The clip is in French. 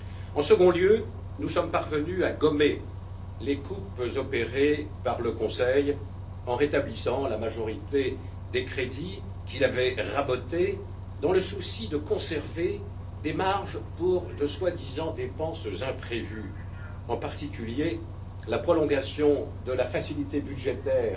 En second lieu, nous sommes parvenus à gommer les coupes opérées par le Conseil, en rétablissant la majorité des crédits qu'il avait rabotés dans le souci de conserver des marges pour de prétendues dépenses imprévues, en particulier, la prolongation de la facilité budgétaire